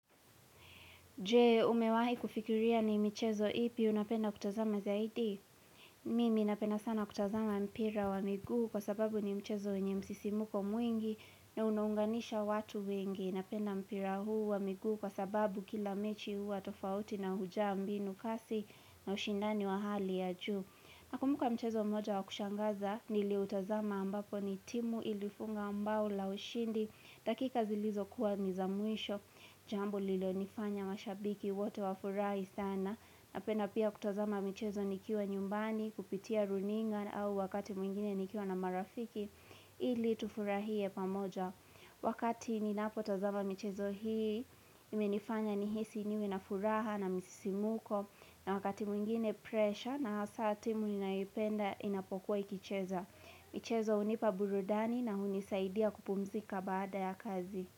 Je, umewahi kufikiria ni mchezo ipi unapenda kutazama zaidi? Mimi napenda sana kutazama mpira wa miguu kwa sababu ni mchezo yenye msisimuko mwingi na una unganisha watu wengi. Napenda mpira huu wa miguu kwa sababu kila mechi huwa tofauti na hujaa mbinu kasi na ushindani wa hali ya juu. Nakumbuka mchezo moja wa kushangaza nili utazama ambapo ni timu ilifunga bao la ushindi dakika zilizokuwa ni za mwisho jambo lilonifanya mashabiki wote wa furahi sana napenda pia kutazama michezo nikiwa nyumbani kupitia runinga au wakati mwingine nikiwa na marafiki ili tufurahie pamoja. Wakati ninapo tazama michezo hii imenifanya nihisi niwe na furaha na msisimuko na wakati mwingine presha na hasa timu ninayoipenda inapokuwa ikicheza michezo hunipa burudani na hunisaidia kupumzika baada ya kazi.